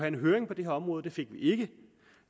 en høring på det her område det fik vi ikke